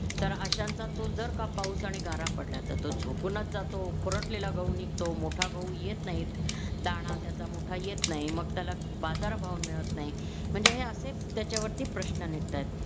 तर अशांचा तो जर का पाऊस आणि गारा पडल्या तर तो झोपूनच जातो खुरटलेला गहू निघतो मोठा गहू येत नाही दाना त्याचा मोठा येत नाही मग त्याला बाजार भाव मिळत नाही म्हणजे हे असे त्याच्यावरती प्रश्न निघतायत